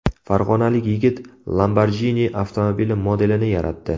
Farg‘onalik yigit Lamborghini avtomobili modelini yaratdi .